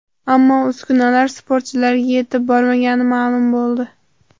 Ammo uskunalar sportchilarga yetib bormagani ma’lum bo‘ldi.